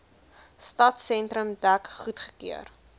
stadsentrum dek goedgekeur